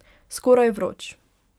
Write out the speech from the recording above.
Skoraj vroč.